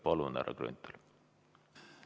Palun, härra Grünthal!